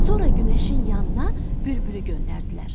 Sonra günəşin yanına bülbülü göndərdilər.